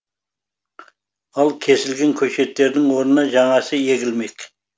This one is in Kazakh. ал кесілген көшеттердің орнына жаңасы егілмек